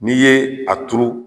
N'i ye a turu